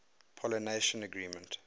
pollination management